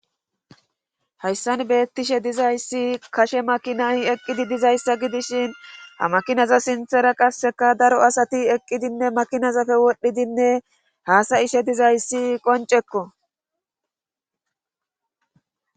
hayssan beettishe dizayssi gashe makinayi eqqidi dizayssa gidishin ha makinaza sinthera qasseka daro asati eqqidinne makinazafe wodhdhidinne haasa ishe dizayssi qoncekko